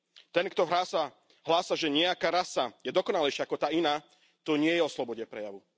Ten kto hrá sa, hlása, že nejaká rasa je dokonalejšia ako tá iná, to nie je o slobode prejavu.